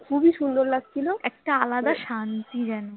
খুবই সুন্দর লাগছিল একটা আলাদা শান্তি যেন